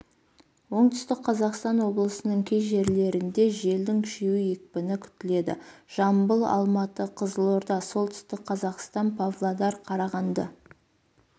оңтүстік қазақстан облысының кей жерлерінде желдің күшеюі екпіні күтіледі жамбыл алматы қызылорда солтүстік қазақстан павлодар қарағанды